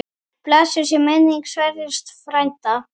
Blessuð sé minning Sverris frænda.